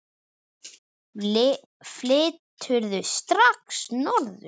Flyturðu strax norður?